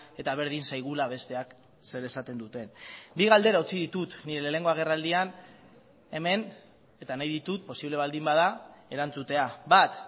eta berdin zaigula besteak zer esaten duten bi galdera utzi ditut nire lehenengo agerraldian hemen eta nahi ditut posible baldin bada erantzutea bat